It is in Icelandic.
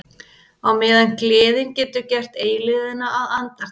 Á meðan gleðin getur gert eilífðina að andartaki.